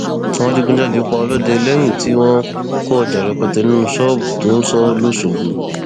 àwọn adigunjalè pa ọlọdẹ lẹyìn tí wọn kó ọjà rẹpẹtẹ nínú ṣọọbù tó ń sọ lọṣọgbó